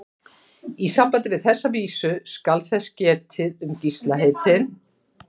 Í sambandi við þessa vísu skal þess getið um Gísla heitinn